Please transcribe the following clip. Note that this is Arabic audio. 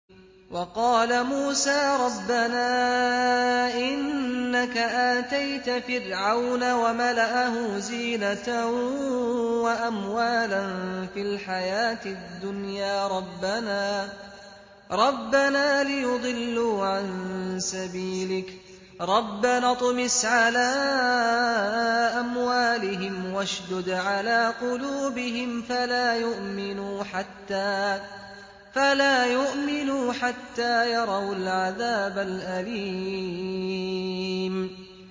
وَقَالَ مُوسَىٰ رَبَّنَا إِنَّكَ آتَيْتَ فِرْعَوْنَ وَمَلَأَهُ زِينَةً وَأَمْوَالًا فِي الْحَيَاةِ الدُّنْيَا رَبَّنَا لِيُضِلُّوا عَن سَبِيلِكَ ۖ رَبَّنَا اطْمِسْ عَلَىٰ أَمْوَالِهِمْ وَاشْدُدْ عَلَىٰ قُلُوبِهِمْ فَلَا يُؤْمِنُوا حَتَّىٰ يَرَوُا الْعَذَابَ الْأَلِيمَ